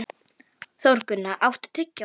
Þórgunna, áttu tyggjó?